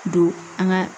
Don an ka